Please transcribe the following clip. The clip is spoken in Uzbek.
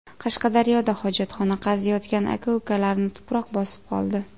Qashqadaryoda hojatxona qaziyotgan aka-ukalarni tuproq bosib qoldi.